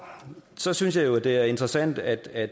så synes jeg jo at det er interessant at